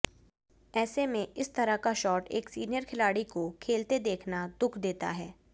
ऐसे में इस तरह का शॉट एक सीनियर खिलाड़ी को खेलते देखना दुःख देता है